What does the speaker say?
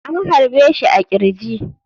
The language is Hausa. An harbe shi a kirji.